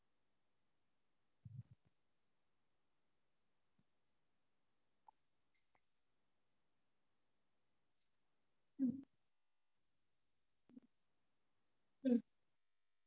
ஆஹ் okay mam இப்போ meals னு பாத்தீங்கனா உங்களுக்கு rice, சாம்பார், ரசம், அப்பளம் and பொரியல் ஒரு kootu ah mor, kara kuzhambu, payasam, vada plus one chapati kurma.